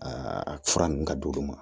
Aa fura nun ka di olu ma